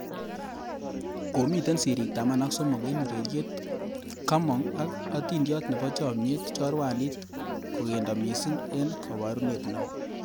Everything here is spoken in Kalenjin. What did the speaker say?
Komitei sirik taman ak somok eng ureriet kamong ak atindiot nebo chamnyet ,chorwandit kokendo missing eng kaborunet neo